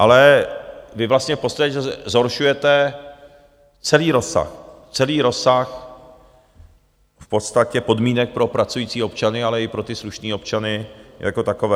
Ale vy vlastně v podstatě zhoršujete celý rozsah, celý rozsah v podstatě podmínek pro pracující občany, ale i pro ty slušné občany jako takové.